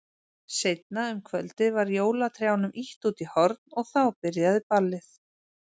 Seinna um kvöldið var jólatrjánum ýtt út í horn og þá byrjaði ballið.